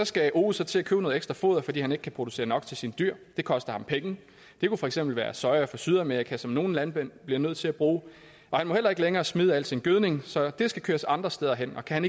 skal ove så til at købe noget ekstra foder fordi han ikke kan producere nok til sine dyr det koster ham penge det kunne for eksempel være soja fra sydamerika som nogle landmænd bliver nødt til at bruge og han må heller ikke længere smide al sin gødning så den skal køres andre steder hen og kan